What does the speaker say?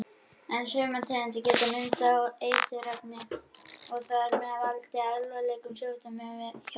En sumar tegundir geta myndað eiturefni og þar með valdið alvarlegum sjúkdómum hjá mönnum.